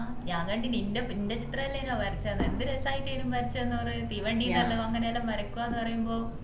ഞാൻ കണ്ടിനു എൻറെ എൻറെചിത്രല്ലേന്വ വരച്ച തന്നേ എന്ത് രസായിട്ടെന് വരച്ച തന്നെ അവർ തീവണ്ടി ന്ന് അങ്ങനെ എല്ലാം വരക്കുത് ന്ന പറയുമ്പോ